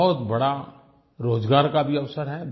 बहुत बड़ा रोज़गार का भी अवसर है